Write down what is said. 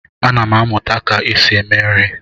Ana m amụta ka esi eme nri.